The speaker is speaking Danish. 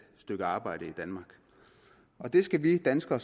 stykke arbejde i danmark og det skal vi danskere